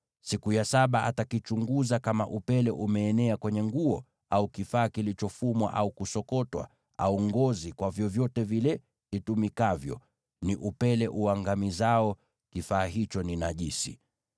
Siku ya saba atakichunguza, na kama upele umeenea kwenye nguo, au kifaa kilichofumwa au kusokotwa, au ngozi, kwa vyovyote vile itumikavyo, ni upele uangamizao, kifaa hicho ni najisi.